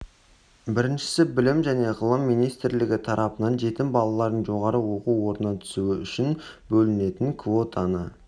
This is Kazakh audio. біріншісі білім және ғылым министрлігі тарапынан жетім балалардың жоғары оқу орнына түсуі үшін бөлінетін квотаны